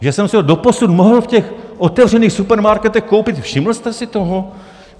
Že jsem si ho doposud mohl v těch otevřených supermarketech koupit, všiml jste si toho?